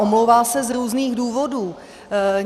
Omlouvá se z různých důvodů.